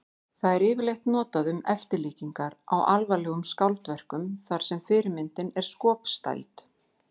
Það er yfirleitt notað um eftirlíkingar á alvarlegum skáldverkum þar sem fyrirmyndin er skopstæld.